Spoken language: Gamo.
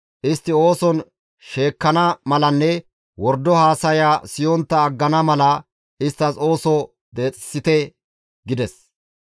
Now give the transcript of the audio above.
Istti ooson sheekkana malanne wordo haasaya siyontta aggana mala isttas ooso deexeththite» gides.